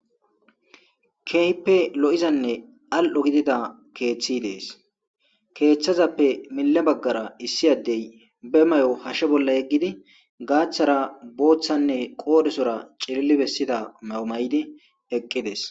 keehppe lo7izanne al7o gidida keeththi dees keeththazappe mile baggara issi addey be may7o hashshe bolla yeggidi gaaththara booththanne qoodhesora cililli bessida mayo may7di eqqides